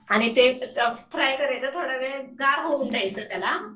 आणि फ्राय करायचं थोडा वेळ आणि गार होऊन द्यायचं त्याला.